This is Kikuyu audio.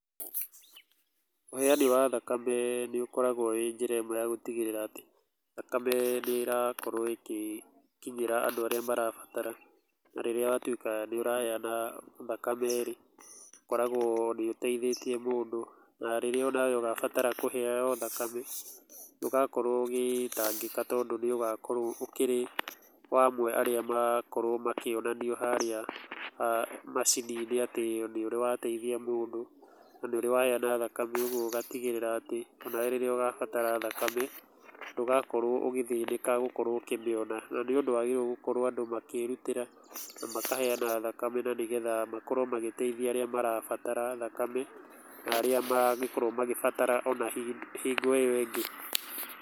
Ũheani wa thakame nĩ ũkoragwo wĩ njĩra ĩmwe ya gũtigĩrĩra atĩ thakame nĩ ĩrakorwo ĩ gĩkinyĩra adũ arĩa marabatara na rĩrĩa watũĩka nĩ ũraheana thakame rĩ, ũkoragwo nĩ ũteithĩtie mũndũ na rĩrĩa we ũgabatara kũheyo thakame, ndũgakorwo ũgĩtangĩka, tondũ nĩ ũgagĩkorwo ũrĩ ũmwe wa arĩa magagĩkorwo makĩonanio harĩa macini-inĩ atĩ nĩ ũrĩ wa teithia mũndũ na nĩ ũrĩ waheana thakame ũgũ ũgatĩgĩrĩra atĩ ona we rĩrĩa ũgabatara thakame ndũgakorwo ũgĩthĩnĩka gũkorwo ũkĩmĩona, na nĩũndũ andũ magĩrĩirwo gũkorwo makĩrũtĩra na makaheana thakame, na nĩgetha makorwo magĩteĩthia arĩa marabatara thamake na arĩa ma ngĩkorwo magĩbatara ona hingo ĩyo ĩngĩ.